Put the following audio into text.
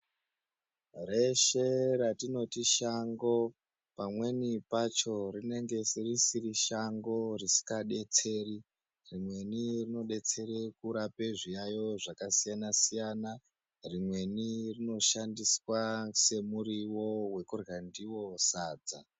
Reshe ratinoti shango, pamweni pacho rinenge risiri shango risingadetseri. Rimweni rinodetsere kurape zviyayo zvakasiyana-siyana. Rimweni rinoshandiswa semuriwo wekurya ndiwo sadza.